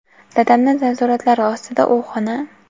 Dadamni nazoratlari ostida u xona.